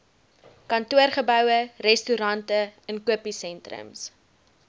kantoorgeboue restaurante inkopiesentrums